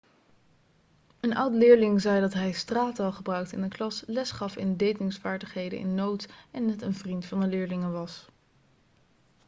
een oud-leerling zei dat hij straattaal gebruikte in de klas lesgaf in datingsvaardigheden in notes en net een vriend van de leerlingen was'